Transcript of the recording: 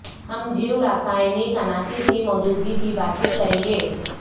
ہم جیوراساینک عناصر کی موجودگی کی بات چیت کریں گے